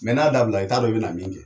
n'a dabila i t'a dɔn i bɛ na min kɛ.